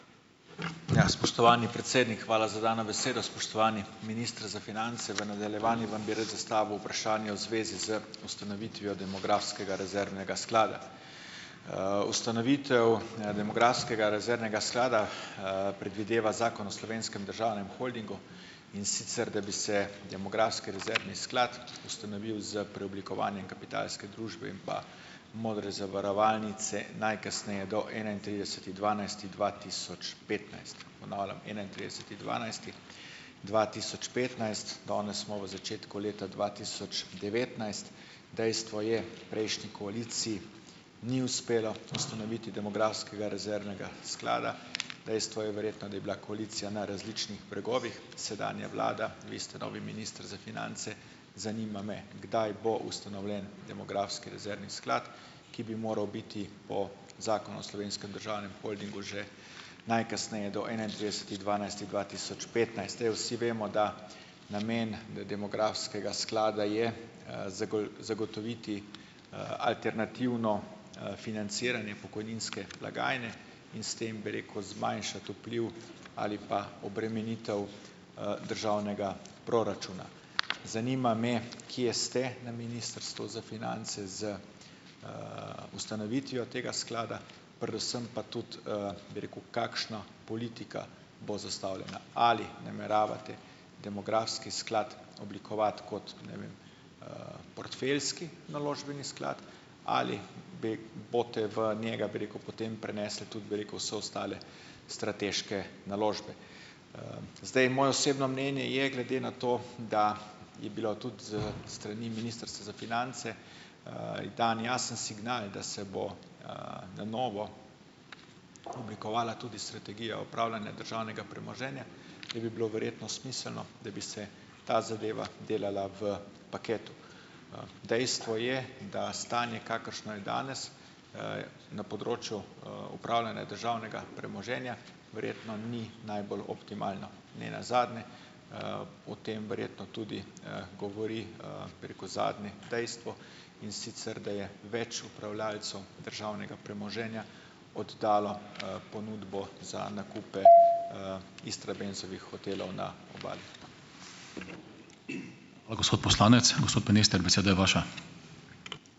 Ja, spoštovani predsednik, hvala za dano besedo. Spoštovani minister za finance. V nadaljevanju vam bi rad zastavil vprašanje v zvezi z ustanovitvijo Demografskega rezervnega sklada. Ustanovitev, Demografskega rezervnega sklada, predvideva Zakon o slovenskem državnem holdingu, in sicer da bi se Demografski rezervni sklad ustanovil s preoblikovanjem Kapitalske družbe in pa Modre zavarovalnice najkasneje do enaintrideseti dvanajsti dva tisoč petnajst, ponavljam enaintrideseti dvanajsti dva tisoč petnajst. Danes smo v začetku leta dva tisoč devetnajst. Dejstvo je, prejšnji koaliciji ni uspelo ustanoviti Demografskega rezervnega sklada. Dejstvo je verjetno, da je bila koalicija na različnih bregovih. Sedanja vlada, vi ste novi minister za finance. Zanima me, kdaj bo ustanovljen Demografski rezervni sklad, ki bi moral biti po Zakonu o slovenskem državnem holdingu že najkasneje do enaintrideseti dvanajsti dva tisoč petnajst. Saj vsi vemo, da namen Demografskega sklada je, zagotoviti, alternativno, financiranje pokojninske blagajne in s tem, bi rekel, zmanjšati vpliv ali pa obremenitev, državnega proračuna. Zanima me, kje ste na Ministrstvu za finance z, ustanovitvijo tega sklada, predvsem pa tudi, bi rekel, kakšna politika bo zastavljena. Ali nameravate Demografski sklad oblikovati kot, ne vem, portfeljski naložbeni sklad ali bi boste v njega, bi rekel, potem prenesli tudi, bi rekel, vse ostale strateške naložbe. Zdaj moje osebno mnenje je glede na to, da je bil tudi, s strani Ministrstva za finance, dan jasen signal, da se bo, na novo oblikovala tudi strategija upravljanja državnega premoženja, da bi bilo verjetno smiselno, da bi se ta zadeva delala v paketu. Dejstvo je, da stanje , kakršno je danes, na področju, upravljanja državnega premoženja, verjetno ni najbolj optimalno. Ne nazadnje, o tem verjetno tudi, govori, bi rekel, zadnje dejstvo, in sicer da je več upravljavcev državnega premoženja oddalo, ponudbo za nakupe, Istrabenzovih hotelov na Obali.